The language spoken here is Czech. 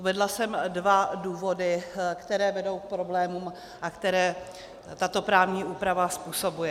Uvedla jsem dva důvody, které vedou k problémům a které tato právní úprava způsobuje.